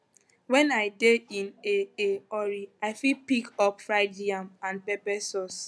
when i dey in a a hurry i fit pick up fried yam and pepper sauce